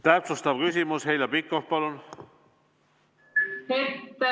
Täpsustav küsimus, Heljo Pikhof, palun!